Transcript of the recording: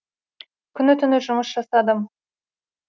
күні түні жұмыс жасадым